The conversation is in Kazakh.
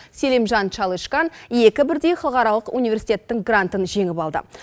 селимжан чалышкан екі бірдей халықаралық университеттің грантын жеңіп алды